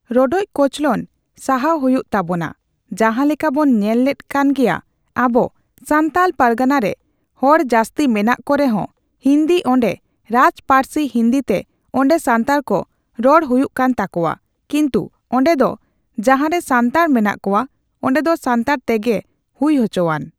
ᱨᱚᱰᱚᱪ ᱠᱚᱪᱞᱚᱱ ᱥᱟᱦᱟᱣ ᱦᱩᱭᱩᱜ ᱛᱟᱵᱳᱱᱟ ᱡᱟᱸᱦᱟ ᱞᱮᱠᱟᱵᱵᱚᱱ ᱧᱮᱞ ᱞᱮᱫ ᱠᱟᱱ ᱜᱮᱭᱟ ᱟᱵᱚ ᱥᱟᱱᱛᱟᱞ ᱯᱟᱨᱜᱟᱱᱟᱨᱮ ᱦᱚᱲ ᱡᱟᱹᱥᱛᱤ ᱢᱮᱱᱟᱜ ᱠᱚ ᱨᱮᱦᱚᱸ ᱦᱤᱱᱫᱤ ᱚᱱᱰᱮ ᱨᱟᱡᱽ ᱯᱟᱹᱨᱥᱤ ᱦᱤᱱᱫᱤᱛᱮ ᱚᱱᱰᱮ ᱥᱟᱱᱛᱟᱲᱠᱚ ᱨᱚᱲ ᱦᱩᱭᱩᱜ ᱠᱟᱱ ᱛᱟᱠᱚᱣᱟ ᱠᱤᱱᱛᱩ ᱚᱱᱰᱮ ᱫᱚ ᱡᱟᱸᱦᱟᱨᱮ ᱥᱟᱱᱛᱟᱲ ᱢᱮᱱᱟᱜ ᱠᱚᱣᱟ ᱚᱱᱰᱮ ᱫᱚ ᱥᱟᱱᱛᱟᱲ ᱛᱮᱜᱮ ᱦᱩᱭ ᱦᱚᱪᱚᱣᱟᱱ